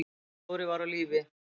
Dóri var á lífi.